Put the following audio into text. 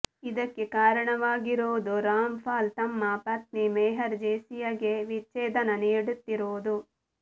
ಇದಕ್ಕೆ ಕಾರಣವಾಗಿರುವುದು ರಾಮ್ ಪಾಲ್ ತಮ್ಮ ಪತ್ನಿ ಮೆಹರ್ ಜೆಸ್ಸಿಯಾ ಗೆ ವಿಚ್ಛೇದನ ನೀಡುತ್ತಿರುವುದು